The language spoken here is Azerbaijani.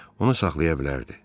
Onu saxlaya bilərdi.